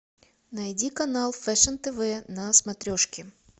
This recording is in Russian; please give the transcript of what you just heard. найди канал фэшн тв на смотрешке